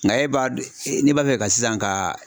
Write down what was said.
Nka e b'a dɔn ne b'a fɛ ka sisan ka